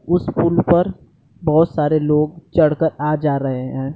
उस पुल पर बहोत सारे लोग चढ़ कर आ जा रहे है।